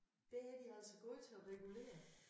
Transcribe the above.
Der er de altså gode til at regulere